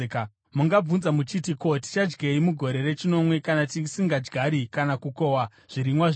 Mungabvunza muchiti, “Ko, tichadyei mugore rechinomwe kana tisingadyari kana kukohwa zvirimwa zvedu?”